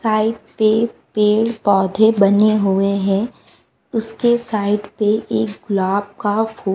side पे पेड़-पौधे बने हुए हैं उसके साइड पे एक गुलाब का फू --